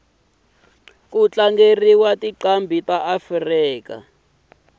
kutlangeliwa tincambi taafrika